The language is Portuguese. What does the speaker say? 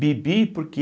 Bibi porque